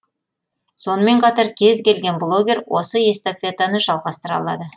сонымен қатар кез келген блогер осы эстафетаны жалғастыра алады